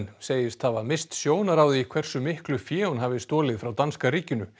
segist hafa misst sjónar á því hversu miklu fé hún hafi stolið frá danska ríkinu